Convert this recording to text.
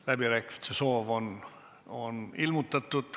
Läbirääkimiste soovi on ilmutatud.